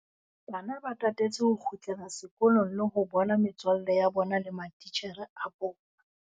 Bana ba tatetse ho kgutlela sekolong le ho bona metswalle ya bona le matitjhere a bona.